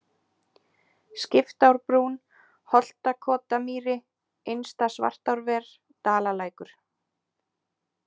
Skiptárbrún, Holtakotamýri, Innsta-Svartárver, Dalalækur